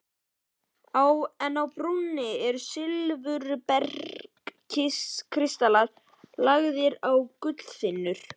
En á brúninni eru silfurbergskristallar lagðir á gullþynnur.